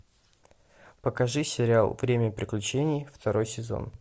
покажи сериал время приключений второй сезон